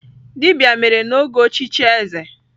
Dibia mere n'oge ochichi eze.